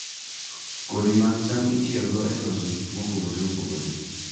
Kodhi mag cham itiyogo e loso gik mopogore opogore.